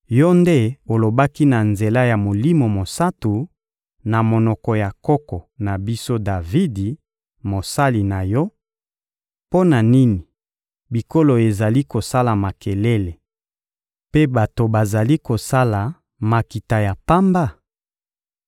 Yo nde olobaki na nzela ya Molimo Mosantu, na monoko ya koko na biso, Davidi, mosali na yo: «Mpo na nini bikolo ezali kosala makelele, mpe bato bazali kosala makita ya pamba?